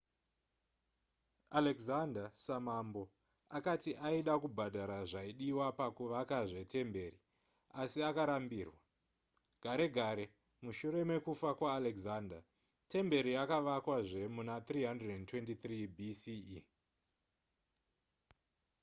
alexander samambo akati aida kubhadhara zvaidiwa pakuvakazve temberi asi akarambirwa gare gare mushure mekufa kwaalexander temberi yakavakwazve muna 323 bce